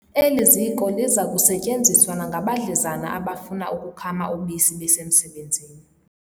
Eli ziko liza kusetyenziswa nangabadlezana abafuna ukukhama ubisi besemsebenzini.